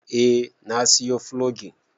Eh na siyo fulogin